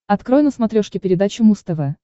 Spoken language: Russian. открой на смотрешке передачу муз тв